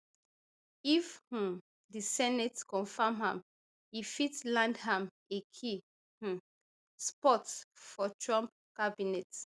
if um di senate confam am e fit land am a key um spot for trump cabinet